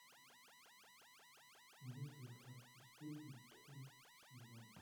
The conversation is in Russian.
мыслить как преступник пятнадцатый сезон